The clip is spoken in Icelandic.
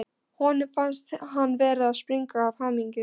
Honum fannst hann vera að springa af hamingju.